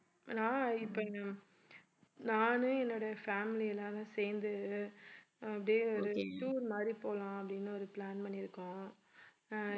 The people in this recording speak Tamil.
நான் இப்ப இங்க நானு என்னுடைய family எல்லாரும் சேர்ந்து அப்பிடியே ஒரு tour மாதிரி போலாம் அப்படின்னு ஒரு plan பண்ணியிருக்கோம் ஆஹ்